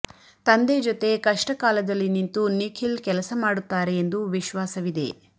ತಂದೆ ಜೊತೆ ಕಷ್ಟಕಾಲದಲ್ಲಿ ನಿಂತು ನಿಖಿಲ್ ಕೆಲಸ ಮಾಡುತ್ತಾರೆ ಎಂದು ವಿಶ್ವಾಸವಿದೆ